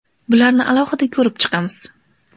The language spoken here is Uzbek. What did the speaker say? Bularni alohida ko‘rib chiqamiz.